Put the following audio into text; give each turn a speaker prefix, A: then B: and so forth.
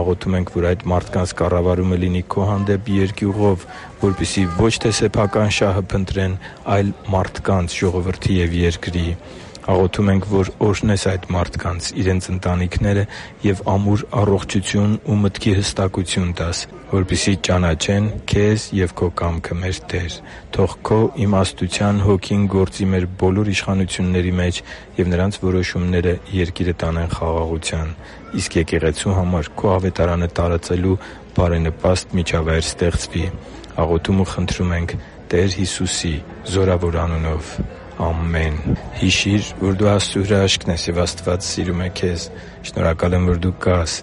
A: Աղոթում ենք, որ այդ մարդկանց կառավարումը լինի Քո հանդեպ երկյուղով, որպեսզի ո՛չ թե սեփական շահը փնտրեն, այլ մարդկանց, ժողովրդի և երկրի։ Աղոթում ենք, որ օրհնես այդ մարդկանց, իրենց ընտանիքները, և ամուր առողջություն և մտքի հստակություն տաս, որպեսզի ճանաչեն Քեզ և Քո կամքը, մեր Տե՛ր։ Թո՛ղ Քո իմաստության Հոգին գործի մեր բոլոր իշխանությունների մեջ, և նրանց որոշումները երկիրը տանեն խաղաղության, իսկ եկեղեցու համար Քո Ավետարանը տարածելու բարենպաստ միջավայր ստեղծվի։ Աղոթում ու խնդրում ենք Տեր Հիսուսի զորավոր անունով։ Ամեն»։ Հիշի՛ր, որ դու Աստծո հրաշքն ես, և Աստված սիրում է քեզ։ Շնորհակալ եմ, որ դու կա՛ս